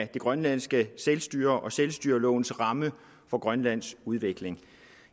det grønlandske selvstyre og selvstyrelovens ramme for grønlands udvikling